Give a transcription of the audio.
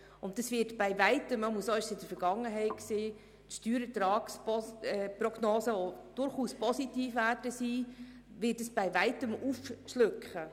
Diese Beträge werden die Steuerertragsprognose, die durchaus positiv sein wird, bei weitem schlucken.